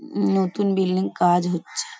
নতুন বিল্ডিং কাজ হচ্ছ-- ।